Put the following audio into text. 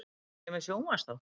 Er ég með sjónvarpsþátt?